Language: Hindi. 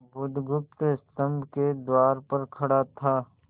बुधगुप्त स्तंभ के द्वार पर खड़ा था